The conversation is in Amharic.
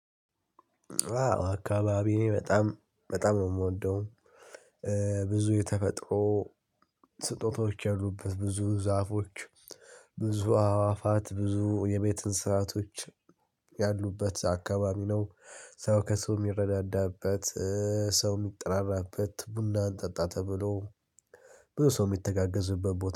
አካባቢዬ በጣም በጣም ነው የምወደው። ብዙ የተፈጥሮ ስጦታዎች ያሉበት ብዙ ዛፎች ብዙ አዕዋፋት ብዙ የቤት እንስሳቶች ያሉበት አካባቢ ነው። ሰው ከሰው የሚረዳዳበት፣ ሰው የሚጠራራበት ቡና አንጠጣ ተብሎ በሰው የሚተጋገዝበት ቦታ